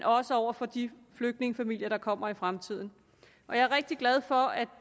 også over for de flygtningefamilier der kommer i fremtiden jeg er rigtig glad for at